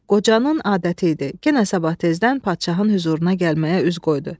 Qocanın adəti idi, yenə sabah tezdən padşahın hüzuruna gəlməyə üz qoydu.